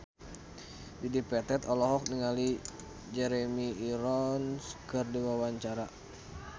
Dedi Petet olohok ningali Jeremy Irons keur diwawancara